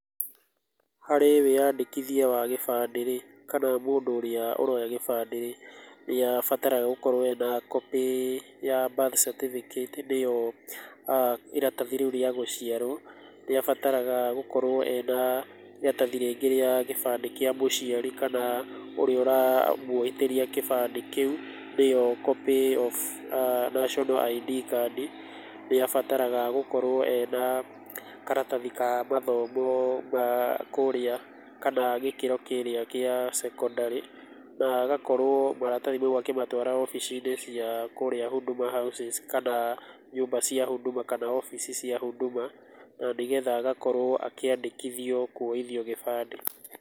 Harĩ wĩyandĩkithia wa gĩbandĩ-rĩ, kana mũndũ ũrĩa ũroya gĩbandĩ-rĩ, nĩabataraga gũkorwo ena copy ya birth certificate nĩyo iratathi rĩu rĩa gũciarwo, nĩabataraga gũkorwo na iratathi rĩngĩ rĩa gĩbandĩ kĩa mũciari kana kĩa ũrĩa ũramũithĩria kĩbandĩ kĩu, nĩyo copy of national ID card, nĩabataraga gũkorwo ena karatathi ka mathomo ma kũrĩa, kana gĩkĩro kĩrĩa kĩa cekondarĩ na agakorwo maratathi mau akĩmatwara obici-inĩ cia kũrĩa huduma houses kana nyũmba cia huduma, kana ofici cia huduma, nanĩgetha agakorwo akĩandĩkithio kuoithio gĩbandĩ.